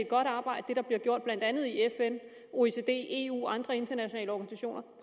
godt arbejde der bliver gjort blandt andet i fn oecd eu og andre internationale organisationer